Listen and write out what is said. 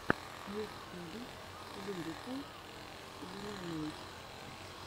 мультфильм лирикал лемонэйд